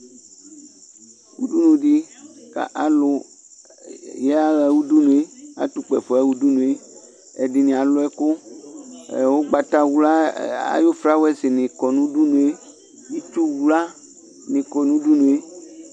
alʊɛɗɩnɩatʊ ʊƙpaƒo aƴaha ʊɗʊnʊɗɩ ɛɗɩnɩalʊ ɔnʊ aɗɔƙa ʊgɓatawla ɗʊnʊ ɩtsʊwlanɩ ƙɔnʊ ʊɗʊnʊe